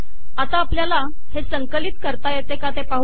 आता आपल्याला हे संकलित करता येते का ते पाहू